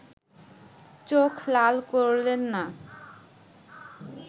চোখ লাল করলেন না